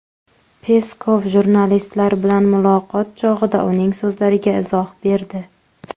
Peskov jurnalistlar bilan muloqot chog‘ida uning so‘zlariga izoh berdi.